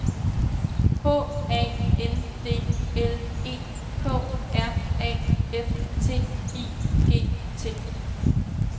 H A N D L E K R A F T I G T